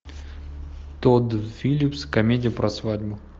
тодд филлипс комедия про свадьбу